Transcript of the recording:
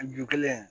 A ju kelen